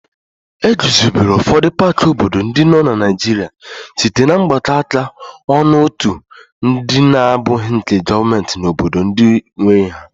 E guzobere ụfọdụ paaki obodo ndị nọ na Naịjirịa site na mgbakọ áká ọnụ otu ndị na-abụghị nke gọọmenti na obodo ndị nwe ha.